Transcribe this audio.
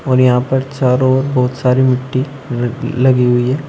और यहां पर चारों ओर बहोत सारी मिट्टी लग लगी हुई है।